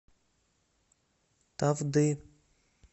тавды